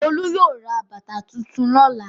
Olú yóò ra bàtà tuntun lọ́la.